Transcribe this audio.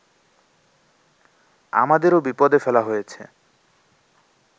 আমাদেরও বিপদে ফেলা হয়েছে